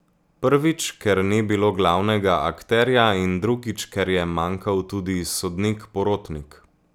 Prvič, ker ni bilo glavnega akterja, in drugič, ker je manjkal tudi sodnik porotnik.